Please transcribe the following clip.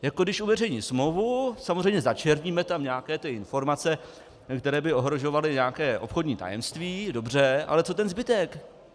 Jako když uveřejní smlouvu, samozřejmě začerníme tam nějaké ty informace, které by ohrožovaly nějaké obchodní tajemství, dobře, ale co ten zbytek?